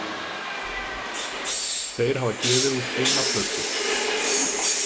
Þeir hafa gefið út eina plötu.